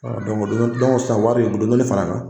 wari u bi dɔɔnin fara kan